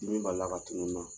dimin bali la ka tunu n na.